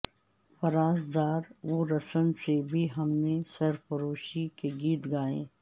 فراز دار و رسن سے بھی ہم نے سرفروشی کے گیت گائے